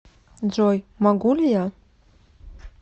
джой могу ли я